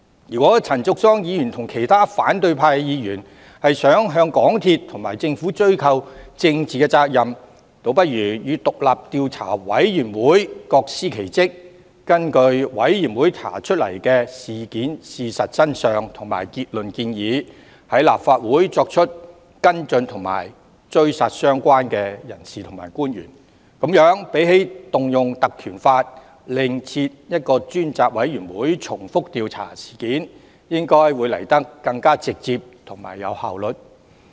如果陳淑莊議員和其他反對派議員希望向港鐵和政府追究政治責任，倒不如與委員會各司其職，根據委員會查出的事實真相及結論建議，在立法會上再作出跟進和"追殺"相關的人士和官員，與引用《條例》另設專責委員會重複調查相比，這樣應來得更直接、更有效率。